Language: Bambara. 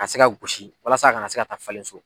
A ka se ka gosi walasa a ka na se ka ta falen so.